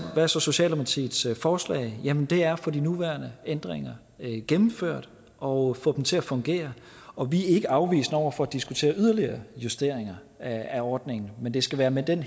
er så socialdemokratiets forslag jamen det er at få de nuværende ændringer gennemført og få dem til at fungere og vi er ikke afvisende over for at diskutere yderligere justeringer af ordningen men det skal være med den